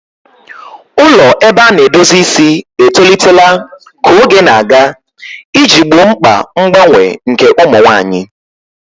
Ụlọ ebe a na-edozi isi etolitela ka oge na-aga iji gboo mkpa mgbanwe nke ụmụ nwanyị.